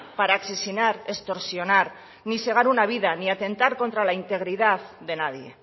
para asesinar extorsionar ni segar una vida ni atentar contra la integridad de nadie